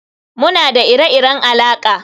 Muna da ire-iren alaƙa